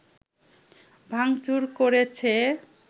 ভাংচুর করেছে